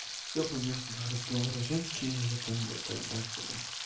все понятно разговора женские я пойду тогда отсюда